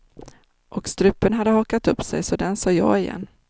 Och strupen hade hakat upp sig, så den sa ja igen.